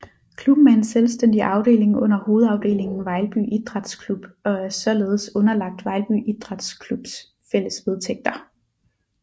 Klubben er en selvstændig afdeling under hovedafdelingen Vejlby Idræts Klub og er således underlagt Vejlby Idræts Klubs fælles vedtægter